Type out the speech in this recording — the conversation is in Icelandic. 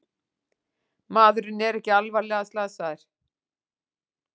Maðurinn er ekki alvarlega slasaðir